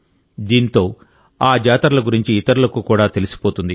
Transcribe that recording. దీంతో ఆ జాతరల గురించి ఇతరులకు కూడా తెలిసిపోతుంది